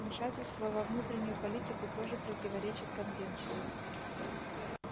вмешательство во внутреннюю политику тоже противоречит конвенции